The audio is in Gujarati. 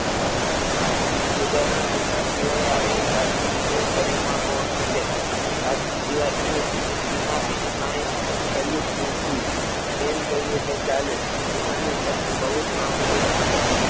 ના ખુદાના બંદા સિવાય આવી સાધના બીજું કોઈ કરી પણ કોણ શકે સાધના સિવાય અમને જિંદગીમાં બીજું કાંઈ કર્યું જ નથી એમ કહીએ તો ચાલે પોતાનું ખર્ચ બહુ જ મામુલી રાખતા.